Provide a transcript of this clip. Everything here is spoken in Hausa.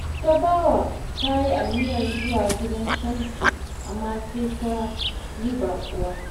Tabawa ta yi aniyar zuwa gidan Shamsu, amma sai ta yi baƙuwa